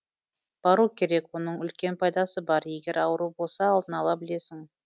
бару керек оның үлкен пайдасы бар егер ауру болса алдын ала білесің